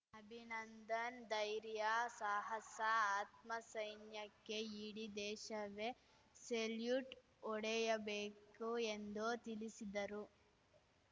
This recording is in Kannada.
ಅಭಿನಂದನ್‌ ಧೈರ್ಯ ಸಾಹಸ ಆತ್ಮಸೈನ್ಯಕ್ಕೆ ಇಡೀ ದೇಶವೇ ಸೆಲ್ಯೂಟ್‌ ಹೊಡೆಯಬೇಕು ಎಂದು ತಿಳಿಸಿದರು